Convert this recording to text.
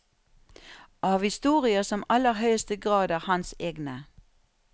Av historier som i aller høyeste grad er hans egne.